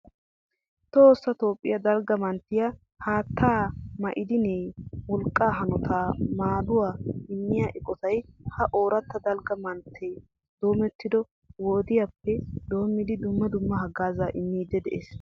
Toossa toophphiya dalga manttiya haatta, ma'diniyaanne wolqqa hanota maduwa immiya eqotay ha ooratta dalgga mantte domettido wodiyaappe doomidi dumma dumma hagaazza immidi de'es.